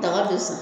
Daga bɛ sa